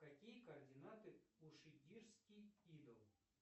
какие координаты у шигирский идол